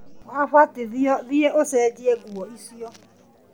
Wabatithio thiĩ ũcenjie nguo icio